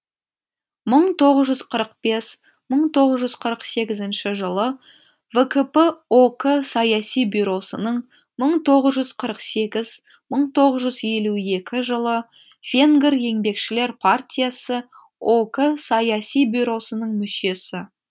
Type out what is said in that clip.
мың тоғыз жүз қырық бес мың тоғыз жүз қырық сегізінші жылы вкп ок саяси бюросының мың тоғыз жүз қырық сегіз мың тоғыз жүз елу екі жылы венгр еңбекшілер партиясы ок саяси бюросының мүшесі